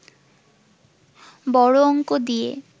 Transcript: বড় অঙ্ক দিয়ে